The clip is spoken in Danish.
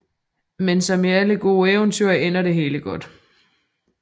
Men som i alle gode eventyr ender det hele godt